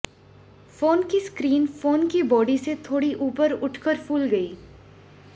phone की screen phone की body से थोड़ी ऊपर उठकर फूल गई